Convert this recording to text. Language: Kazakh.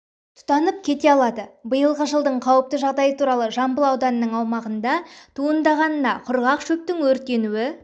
тұтанып кете алады биылғы жаздың қауіпті жағдайы туралы жамбыл ауданының аумағында туындағана құрғақ шөптің өрттенуі